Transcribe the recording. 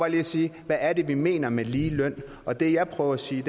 lige at sige hvad er det vi mener med ligeløn og det jeg prøver at sige